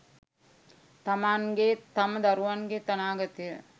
තමන්ගෙත් තම දරුවන්ගෙත් අනාගතය